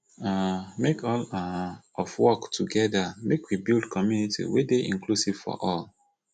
um make all um of work togeda make we build community wey dey inclusive for all